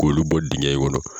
Kulu bɔ dingɛ kɔnɔ.